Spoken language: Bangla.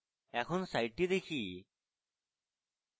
একবার সাইটটি দেখি